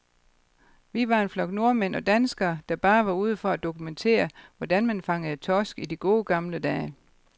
Vi var en flok nordmænd og danskere, der bare var ude for at dokumentere, hvordan man fangede torsk i de gode, gamle dage.